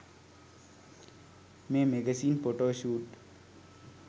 may magazine photoshoot